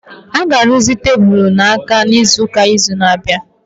A ga-arụzi tebụl na-adị n'akụkụ n'izu na-abịa